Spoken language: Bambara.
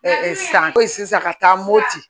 san ko in sisan ka taa mopti